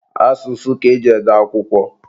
Asụsụ ka eji ede akwụkwọ.